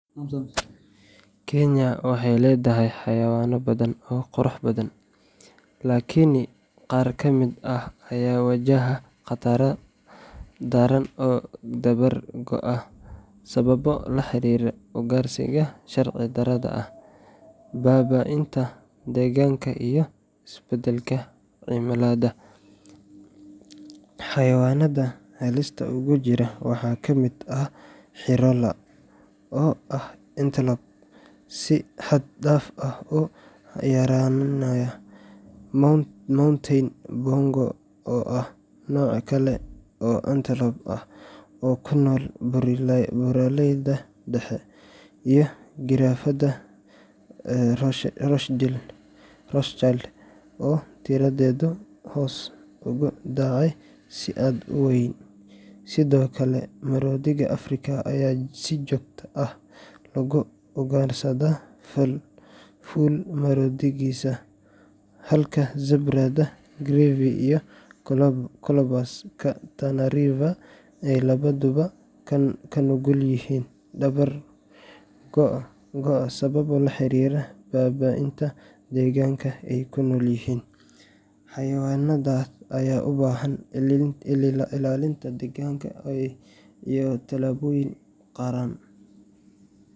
Kenya waxay leedahay xayawaano badan oo qurux badan, laakiin qaar ka mid ah ayaa wajahaya khatar daran oo dabar go’ ah sababo la xiriira ugaarsiga sharci darrada ah, baabi’inta deegaanka, iyo isbeddelka cimilada. Xayawaanada halista ugu jira waxaa ka mid ah Hirola, oo ah antelope si xad dhaaf ah u yaraanaya; Mountain Bongo, oo ah nooc kale oo antelope ah oo ku nool buuraleyda dhexe; iyo giraafada Rothschild, oo tiradeedu hoos ugu dhacday si aad u weyn. Sidoo kale, maroodiga Afrika ayaa si joogto ah loogu ugaarsadaa fool-maroodigiisa, halka zebra-da Grevy iyo Colobus-ka Tana Kenya waxay leedahay xayawaano badan oo qurux badan, laakiin qaar ka mid ah ayaa wajahaya khatar daran oo dabar go’ ah sababo la xiriira ugaarsiga sharci darrada ah, baabi’inta deegaanka, iyo isbeddelka cimilada. Xayawaanada halista ugu jira waxaa ka mid ah Hirola, oo ah antelope si xad dhaaf ah u yaraanaya; Mountain Bongo, oo ah nooc kale oo antelope ah oo ku nool buuraleyda dhexe; iyo giraafada Rothschild, oo tiradeedu hoos ugu dhacday si aad u weyn. Sidoo kale, maroodiga Afrika ayaa si joogto ah loogu ugaarsadaa fool-maroodigiisa, halka zebra-da Grevy iyo Colobus-ka Tana River ay labaduba ku nugul yihiin dabar go’ sababo la xiriira baabi’inta deegaanka ay ku nool yihiin. Xayawaanadan ayaa u baahan ilaalin degdeg ah iyo tallaabooyin qaran